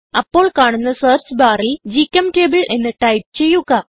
അപ്പോൾ കാണുന്ന സെർച്ച് ബാറിൽ ഗ്ചെംറ്റബിൾ എന്ന് ടൈപ്പ് ചെയ്യുക